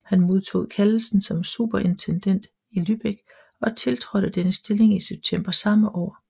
Han modtog kaldelsen som superintendent i Lübeck og tiltrådte denne stilling i september samme år